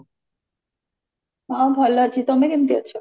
ହଁ ଭଲ ଅଛି ତମେ କେମତି ଅଛ